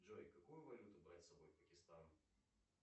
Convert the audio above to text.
джой какую валюту брать с собой в пакистан